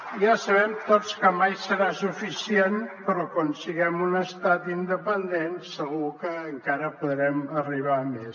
i ja sabem tots que mai serà suficient però quan siguem un estat independent segur que encara podrem arribar a més